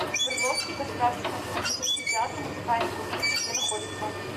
свердловский государственный академический театр музыкальной комедии где находится